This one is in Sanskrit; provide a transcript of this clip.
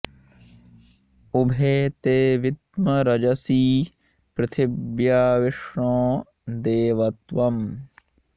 उ॒भे ते॑ विद्म॒ रज॑सी पृथि॒व्या विष्णो॑ देव॒ त्वम्